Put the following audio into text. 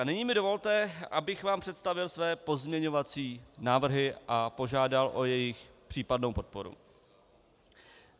A nyní mi dovolte, abych vám představil své pozměňovací návrhy a požádal o jejich případnou podporu.